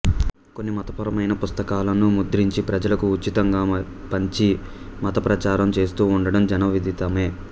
కొన్ని మతపరమైన పుస్తకాలను ముద్రించి ప్రజలకు ఉచితంగా పంచి మతప్రచారం చేస్తూ ఉండడం జన విదితమే